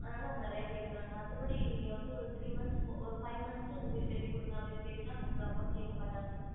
அதனால அவங்க நிறைய கேக்குறாங்க மத்த படி நீங்க வந்து ஒரு three month ஒரு five month க்கு வீடு கட்டி குடுங்க அப்டின்னு கேட்டிங்கனா அவங்க இவ்ளோ amount கேக்கமாட்டங்க